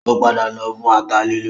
Ó padà lọ fún ata lílọ